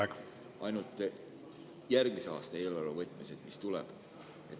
On teada ainult järgmise aasta eelarve võtmised.